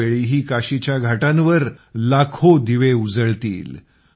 यावेळीही काशीच्या घाटांवर लाखो दिवे पेटवले जातील